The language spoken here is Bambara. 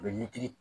U bɛ militi